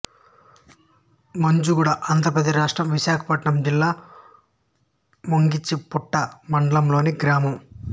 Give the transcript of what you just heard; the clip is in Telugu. మొంజుగూడ ఆంధ్ర ప్రదేశ్ రాష్ట్రం విశాఖపట్నం జిల్లా ముంచింగిపుట్టు మండలంలోని గ్రామం